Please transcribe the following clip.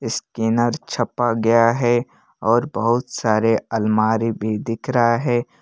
Scanner छपा गया है और बहुत सारे अलमारी भी दिख रहा है।